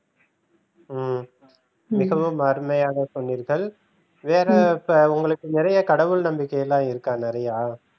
ஹம் மிகவும் அருமையாக சொன்னீர்கள் வேற இப்ப உங்களுக்கு நிறைய கடவுள் நம்பிக்கைலாம் இருக்கா நிறையா?